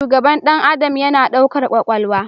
Shugaban ɗan adam yana ɗaukar kwakwalwa